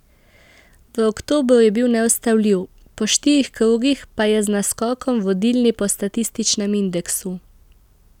V oktobru je bil neustavljiv, po štirih krogih pa je z naskokom vodilni po statističnem indeksu.